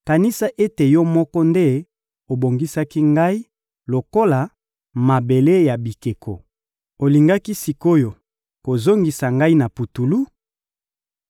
Kanisa ete Yo moko nde obongisaki ngai lokola mabele ya bikeko; olingi sik’oyo kozongisa ngai na putulu?